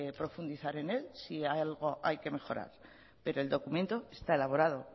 profundizar en él si en algo hay que mejorar pero el documento está elaborado